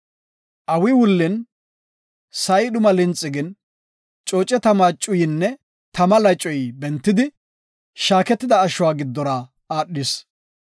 Awi wullin sa7i dhuma linxi gin, cooce tama cuyinne tama lacoy bentidi shaaketida ashuwa giddora aadhis.